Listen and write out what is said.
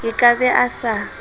a ka be a sa